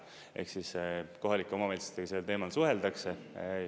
Ehk siis, kohalike omavalitsustega sellel teemal suheldakse.